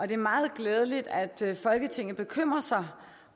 det er meget glædeligt at folketinget bekymrer sig